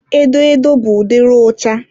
edo edo bụ ụdịrị ụcha.